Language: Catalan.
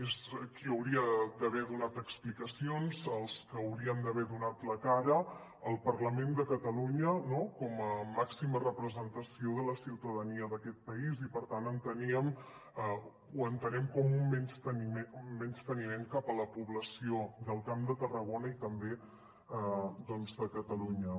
és qui hauria d’haver donat explicacions els que haurien d’haver donat la cara al parlament de catalunya com a màxima representació de la ciutadania d’aquest país i per tant ho entenem com un menysteniment cap a la població del camp de tarragona i també de catalunya